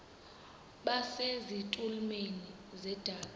base zitulmeni zedaka